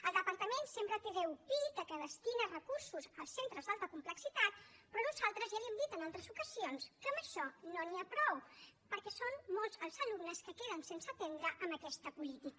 el departament sempre treu pit que destina recursos als centres d’alta complexitat però nosaltres ja li hem dit en altres ocasions que amb això no n’hi ha prou perquè són molts els alumnes que queden sense atendre amb aquesta política